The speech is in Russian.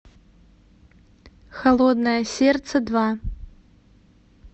холодное сердце два